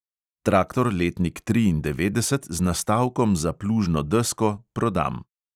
Traktor letnik triindevetdeset, z nastavkom za plužno desko, prodam.